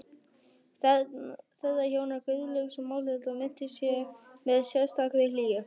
Þeirra hjóna, Guðlaugs og Málhildar, minnist ég með sérstakri hlýju.